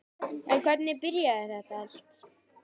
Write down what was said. En hvernig byrjaði þetta allt?